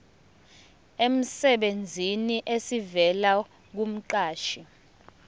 emsebenzini esivela kumqashi